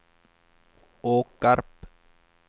Åkarp